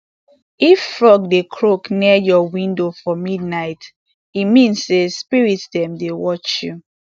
if frog dey croak near your window for midnight e mean say spirit dem dey watch you